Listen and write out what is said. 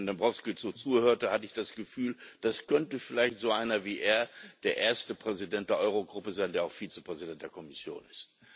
Als ich Herrn Dombrovskis so zuhörte, hatte ich das Gefühl, es könnte vielleicht so einer wie er, der erste Präsident der Euro Gruppe sein, der auch Vizepräsident der Kommission ist.